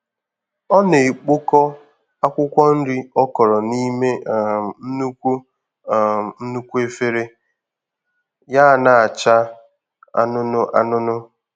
Ọ na-ekpokọ akwụkwọ nri ọ kọrọ n'ime um nnukwu um nnukwu efere ya na-acha anunu anunu.